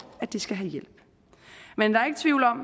at de skal have hjælp men der er ikke tvivl om